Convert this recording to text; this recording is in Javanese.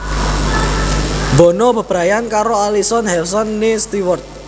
Bono bebrayan karo Alison Hewson née Stewart